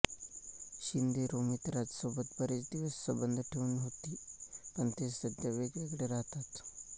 शिंदे रोमित राज सोबत बरेच दिवस संबंध ठेवून होती पण ते सध्या वेगवेगळे राहतात